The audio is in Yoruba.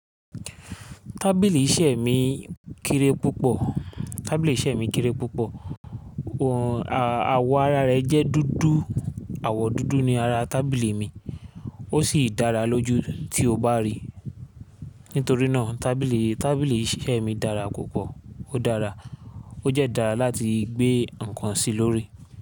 Tábìlì iṣẹ́ mi kéré púpọ̀, tábìlì iṣẹ́ mi kéré púpọ̀, àwọ̀ ara rẹ̀ jẹ́ dúdú, àwọ̀ dúdú ni ara tábìlì mi, ó sì dára lójú tí o bá rí i. Nítorí náà tábìlì, tábìlì iṣẹ́ mi dára púpọ̀, ó dára, ó dẹ́ dára láti gbé ǹkan sí lórí i.